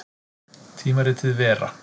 Tímaritið Vera.